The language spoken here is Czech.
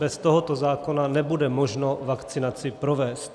Bez tohoto zákona nebude možno vakcinaci provést.